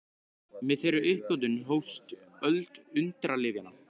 Með þeirri uppgötvun hófst öld undralyfjanna.